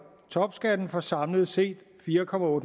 topskatten for samlet set fire